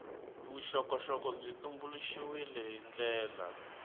vuxokoxoko byi tumbuluxiwile hi ndlela